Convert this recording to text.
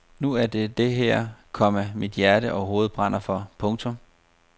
Nu er det det her, komma mit hjerte og hoved brænder for. punktum